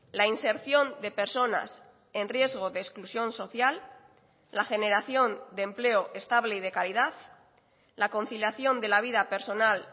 la inserción de personas en riesgo de exclusión social la generación de empleo estable y de calidad la conciliación de la vida personal